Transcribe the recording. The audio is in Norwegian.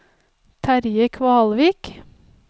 Terje Kvalvik